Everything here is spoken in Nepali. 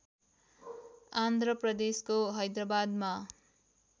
आन्ध्र प्रदेशको हैदराबादमा